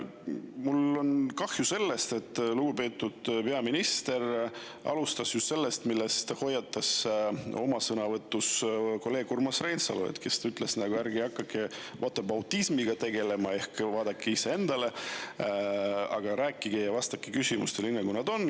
Mul on kahju, et lugupeetud peaminister alustas just sellest, mille eest hoiatas teda oma sõnavõtus kolleeg Urmas Reinsalu, kes ütles, et ärge hakake whataboutism'iga tegelema ehk vaadake iseennast, vaid vastake küsimustele nii, nagu on.